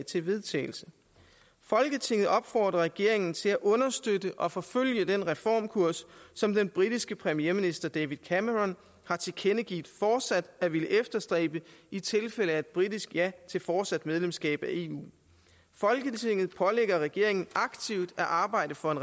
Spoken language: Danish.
til vedtagelse folketinget opfordrer regeringen til at understøtte og forfølge den reformkurs som den britiske premierminister david cameron har tilkendegivet fortsat at ville efterstræbe i tilfælde af et britisk ja til fortsat medlemskab af eu folketinget pålægger regeringen aktivt at arbejde for en